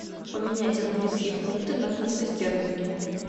поменять английские фунты на фунты стерлинги